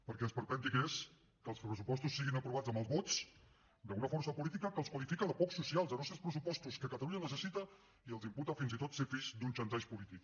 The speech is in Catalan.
perquè esperpèntic és que els pressupostos siguin aprovats amb els vots d’una força política que els qualifica de poc socials de no ser els pressupostos que catalunya necessita i els imputa fins i tot ser fills d’un xantatge polític